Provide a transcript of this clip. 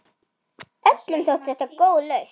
Öllum þótti þetta góð lausn.